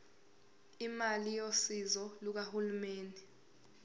imali yosizo lukahulumeni